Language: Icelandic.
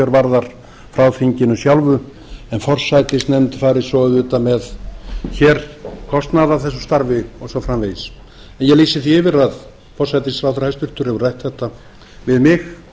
varðar frá þinginu sjálfu en forsætisnefnd fari svo auðvitað með hér kostnað af þessu starfi og svo framvegis ég lýsi því yfir að hæstvirtur forsætisráðherra hefur rætt þetta við mig